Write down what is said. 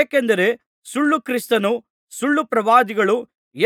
ಏಕೆಂದರೆ ಸುಳ್ಳು ಕ್ರಿಸ್ತರೂ ಸುಳ್ಳುಪ್ರವಾದಿಗಳೂ